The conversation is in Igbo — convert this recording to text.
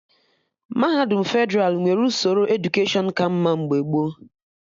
Mahadum Fedralụ nwere usoro edukeshọn ka mma mgbe gboo